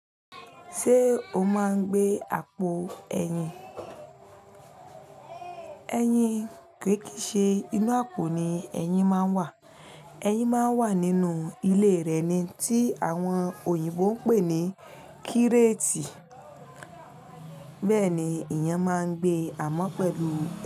Ṣé o máa ń gbé àpò ẹyin? Eyin kì í ṣe inú àpò ni ẹyin máa ń wà. Eyin máa ń wà nínú ilé rẹ̀ ni tí àwọn òyìnbó ń pè ní kírétì. Bẹ́ẹ̀ ni eeyan máa ń gbé amọ́ pẹ̀lú.